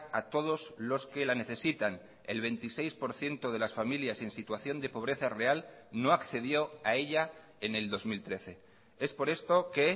a todos los que la necesitan el veintiséis por ciento de las familias en situación de pobreza real no accedió a ella en el dos mil trece es por esto que